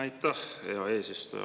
Aitäh, hea eesistuja!